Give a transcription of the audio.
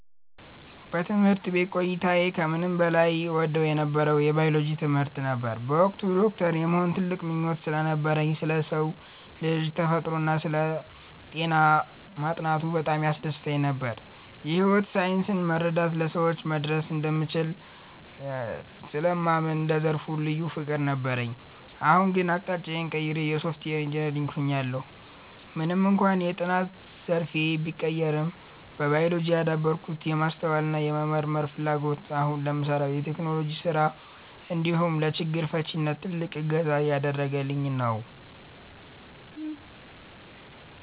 በትምህርት ቤት ቆይታዬ ከምንም በላይ እወደው የነበረው የባዮሎጂ ትምህርትን ነበር። በወቅቱ ዶክተር የመሆን ትልቅ ምኞት ስለነበረኝ፣ ስለ ሰው ልጅ ተፈጥሮና ስለ ጤና ማጥናቱ በጣም ያስደስተኝ ነበር። የሕይወት ሳይንስን መረዳት ለሰዎች መድረስ እንደሚያስችል ስለማምን ለዘርፉ ልዩ ፍቅር ነበረኝ። አሁን ግን አቅጣጫዬን ቀይሬ የሶፍትዌር ኢንጂነር ሆኛለሁ። ምንም እንኳን የጥናት ዘርፌ ቢቀየርም፣ በባዮሎጂ ያዳበርኩት የማስተዋልና የመመርመር ፍላጎት አሁን ለምሠራው የቴክኖሎጂ ሥራ እንዲሁም ለችግር ፈቺነት ትልቅ እገዛ እያደረገኝ ነው።